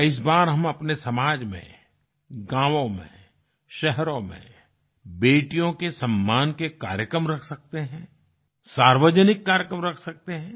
क्या इस बार हम अपने समाज में गाँवों में शहरों में बेटियों के सम्मान के कार्यक्रम रख सकते हैं सार्वजनिक कार्यक्रम रख सकते हैं